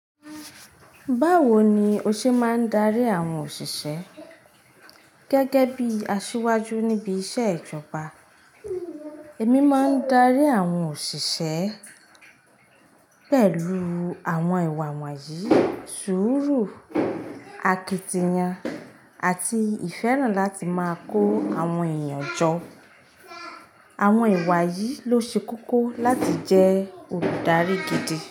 Báwo ni o ṣe máa ń darí àwọn òṣìṣẹ́ gẹ́gẹ́ bíi asíwájú níbi iṣẹ́ ìjọba? Èmi máa ń darí àwọn òṣìṣẹ́ pẹ̀lú àwọn ìwà wọ̀nyí: sùúrù, akitiyan, àti ìfẹ́ràn láti máa kó àwọn èèyàn jọ. Àwọn ìwà yìí ló ṣe kókó láti jẹ́ olùdarí gidi.